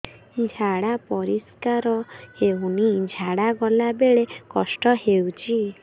ଝାଡା ପରିସ୍କାର ହେଉନି ଝାଡ଼ା ଗଲା ବେଳେ କଷ୍ଟ ହେଉଚି